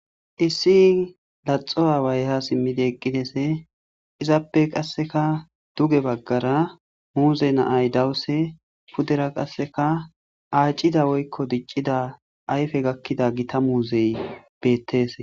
issi laxo aawaya ha simmidi eqqidese izappe qasseka duge baggara muuze na'ay dawuse pudera qasseka aacida woykko diccida ayfe gakkida gita muuzey bettese